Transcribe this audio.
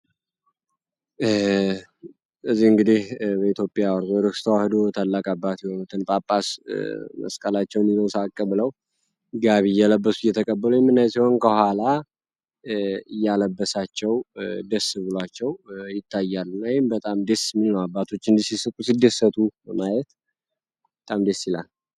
እንግዲ በኢትዮጵያ ኦርቶዶክስ ተዋህዶ ታላቅ አባት ወይም ጳጳስ መስቀላቸው ብለው የተቀበለው ከኋላ ያለበሳቸው ደስ ብላቸው ይታያሉ በጣም ደስ አባቶች እንዲህ ሲስቁ ሲደሰቱ ማየት በጣም ደስ ይላል